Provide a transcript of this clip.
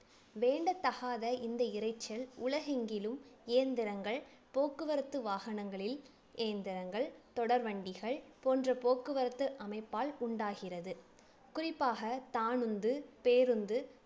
வேண்டத்தகாத இந்த இரைச்சல் உலகெங்கிலும் இயந்திரங்கள் போக்குவரத்து வாகனங்களில் இயந்திரங்கள் தொடர் வண்டிகள் போன்ற போக்குவரத்து அமைப்பால் உண்டாகிறது குறிப்பாக தானுந்து பேருந்து